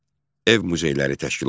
Ev muzeyləri təşkil olundu.